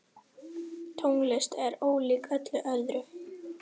Tónlist er ólík öllu öðru.